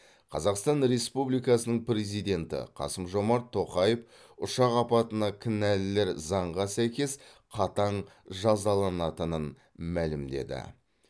қазақстан республикасының президенті қасым жомарт тоқаев ұшақ апатына кінәлілер заңға сәйкес қатаң жазаланатынын мәлімдеді